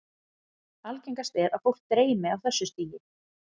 Algengast er að fólk dreymi á þessu stigi.